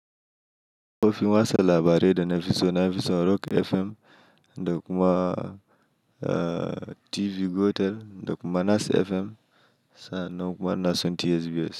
Kafofin wasa labarai na fiso na fiso Rock FM, da kuma TV Gotel, da kuma Nas FM, sa'annan kuma ina son TSBS.